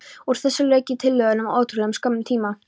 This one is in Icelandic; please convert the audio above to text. Úr þessu lauk ég tillögunum á ótrúlega skömmum tíma.